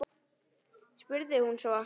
spurði hún svo.